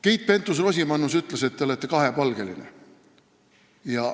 Keit Pentus-Rosimannus ütles, et te olete kahepalgeline.